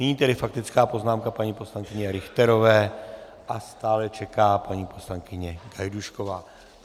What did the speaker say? Nyní tedy faktická poznámka paní poslankyně Richterové a stále čeká paní poslankyně Gajdůšková.